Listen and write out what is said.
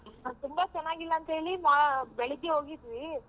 ತುಂಬಾ ಚನಾಗಿಲ್ಲ ಅಂತ ಹೇಳಿ ಬೆಳಿಗ್ಗೆ ಹೋಗಿದ್ವಿ.